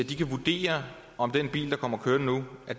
de kan vurdere om den bil der kommer kørende nu er